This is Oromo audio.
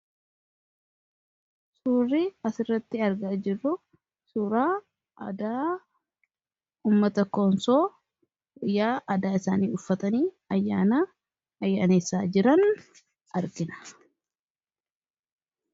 Suurri as irratti arga jirru suraa adaa ummata koonsoo yaa aadaa isaanii uffatanii ayyaana ayyaaneessaa jiran argina.